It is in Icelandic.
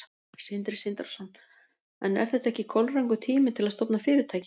Sindri Sindrason: En er þetta ekki kolrangur tími til að stofna fyrirtæki?